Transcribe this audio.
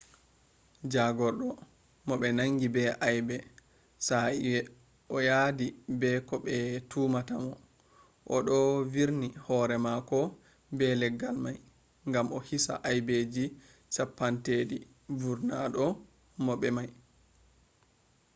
jagordo mo be nangi be aibe sai o yaddi be ko be tumata mo do odo virna hore mako be leggal mai gam ohisa hibeji cappanatati vurnata mo be mai